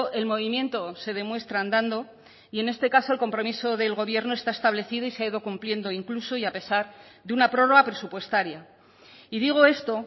el movimiento se demuestra andando y en este caso el compromiso del gobierno está establecido y se ha ido cumpliendo incluso y a pesar de una prórroga presupuestaria y digo esto